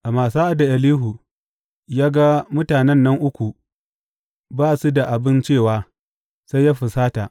Amma sa’ad da Elihu ya ga mutanen nan uku ba su da abin cewa, sai ya fusata.